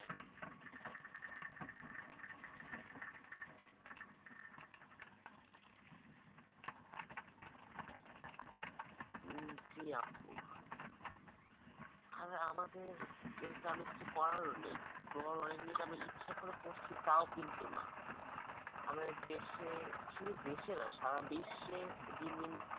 উম জি আপু আর আমাদের এর কারণে কিছু করারও নেই, করার অনেক কিছু আমরা ইচ্ছে করে করছি তাও কিন্তু না। আমাদের দেশে শুধু দেশে না সারা বিশ্বের দিন দিন